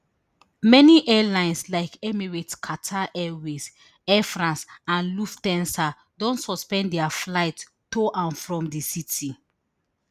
many airlines like emirates qatar airways air france and lufthansa don suspend dia flights to and from di city